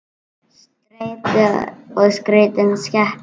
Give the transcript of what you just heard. Streita er skrítin skepna.